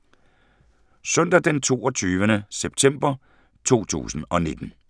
Søndag d. 22. september 2019